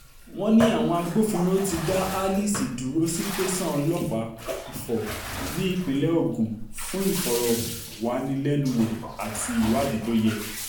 wọ́n ní àwọn agbófinró ti dá alice dúró sí tẹ̀sán ọlọ́pàá ifo nípínlẹ̀ ogun fún ìfọ̀rọ̀wánilẹ́nuwò àti ìwádìí tó yẹ